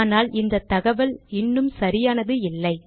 ஆனால் இந்த தகவல் இன்னும் சரியானது இல்லை